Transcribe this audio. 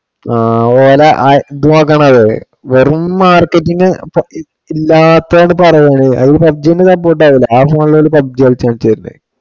ആ ഓനാ നോക്കണത് വെറും marketing ഇല്ലാത്തതാണ് പറയണേ. അവര് PUBG നു support ആ ചെയ്യണത്. ആ mall ഉകളില് PUBG കളിച്ചു ഓൻ ചെയ്യട്ടെ